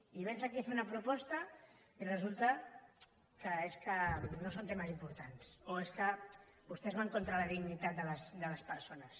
i véns aquí a fer una proposta i resulta que és que no són temes importants o és que vostès van contra la dignitat de les persones